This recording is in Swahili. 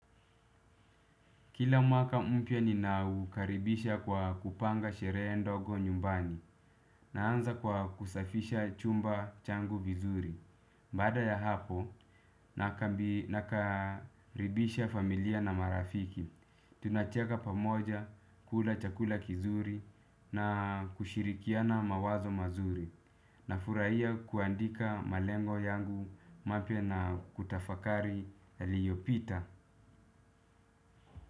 Kila mwaka mpya ninaukaribisha kwa kupanga sherehe ndogo nyumbani naanza kwa kusafisha chumba changu vizuri. Baada ya hapo nakaribisha familia na marafiki. Tunacheka pamoja kula chakula kizuri na kushirikiana mawazo mazuri nafurahia kuandika malengo yangu mapya na kutafakari yaliyopita.